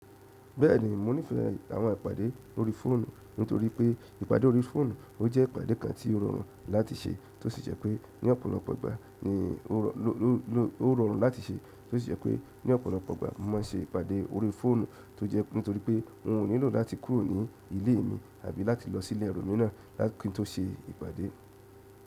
Bẹ́ẹ̀ni, mo nífẹ̀ẹ́ àwọn ìpàdé orí fóònù nítorí pé ìpàdé orí fóònù, o jẹ́ ìpàdé kan tí ó rọrùn láti ṣe tó sì jẹ́ pé ní ọ̀pọ̀lọpọ̀ ìgbà ni mo máa n ṣe ìpàdé orí fóònù tó jẹ́ nítorí pé n ò nílò láti kúrò ní ilé mi àbí láti lọ sí ilé ẹlòmíràn kí n tó ṣe ìpàdé.